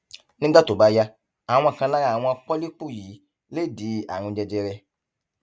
nígbà tó bá yá àwọn kan lára àwọn pọlípù yìí lè di àrùn jẹjẹrẹ